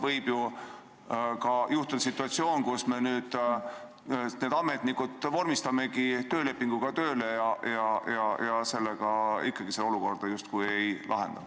Võib ju ka tekkida situatsioon, kus me need ametnikud vormistamegi töölepinguga tööle ja ikkagi seda olukorda justkui ei lahenda.